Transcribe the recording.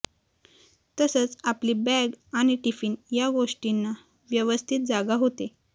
तसंच आपली बॅग आणि टिफिन या गोष्टींना व्यवस्थित जागा होते